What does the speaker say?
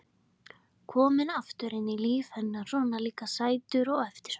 Kominn aftur inn í líf hennar, svona líka sætur og eftirsóttur.